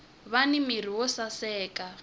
vani mirhi yo saseka